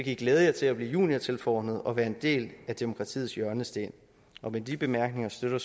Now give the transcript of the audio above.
i glæde jer til at blive juniortilforordnede og være en del af demokratiets hjørnesten med de bemærkninger støtter